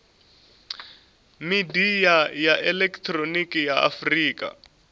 midia ya elekihironiki ya afurika